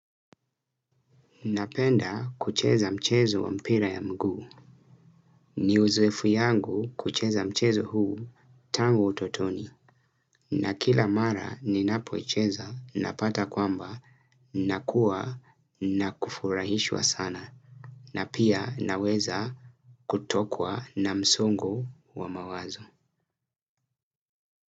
Napenda kucheza mchezo wa mpira ya mguu. Ni uzoeefu yangu kucheza mchezo huu tango utotoni. Na kila mara ninapoicheza napata kwamba nakuwa na kufurahishwa sana. Na pia naweza kutokwa na msongo wa mawazo.